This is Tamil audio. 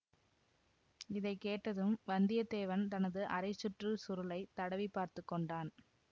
இதை கேட்டதும் வந்தியத்தேவன் தனது அரை சுற்று சுருளைத் தடவி பார்த்து கொண்டான்